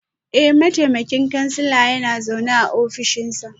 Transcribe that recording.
Eh, mataimakin kansila yana zaune a ofishinsa